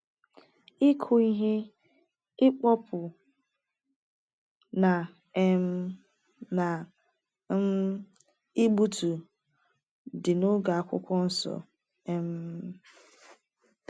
Ịkụ ihe, ịkpọpu, na um na um igbutu dị n’oge Akwụkwọ Nsọ um.